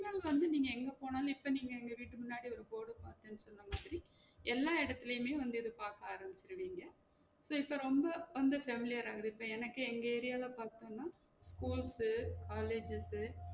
இந்த incident வந்து நீங்க எங்க போனாலும் இப்ப நீங்க எங்க வீட்டு முன்னாடி ஒரு board உ பாத்தன் சொன்ன மாதிரி எல்லா எடத்துலையுமே வந்து இத பாக்க ஆரம்பிச்சுடுவீங்க so இப்ப ரொம்ப வந்து familiar ஆ வந்து இப்ப எனக்கே எங்க area ல பாத்தோம்னா school college